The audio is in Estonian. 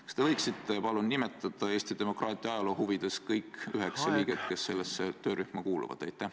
Kas te võiksite Eesti demokraatia ajaloo huvides nimetada kõik üheksa liiget, kes sellesse töörühma kuuluvad?